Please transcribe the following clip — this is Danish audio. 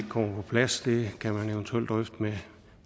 kommer på plads det kan man eventuelt drøfte med